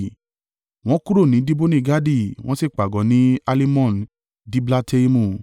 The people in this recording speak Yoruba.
Wọ́n kúrò ní Diboni-Gadi wọ́n sì pàgọ́ ní Alimon-Diblataimu.